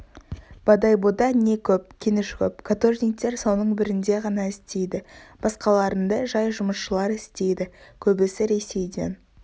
бодойбода не көп кеніш көп каторжниктер соның бірінде ғана істейді басқаларында жай жұмысшылар істейді көбісі ресейден